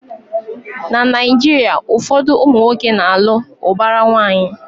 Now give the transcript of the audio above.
Na Naijiria, ụfọdụ ụmụnwoke na alụ ubara nwanyi